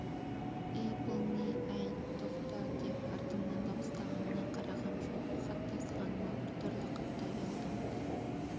әй бұл не әй тоқта деп артымнан дауыстағанына қарағам жоқ хат тасығаныма бір түрлі қатты ұялдым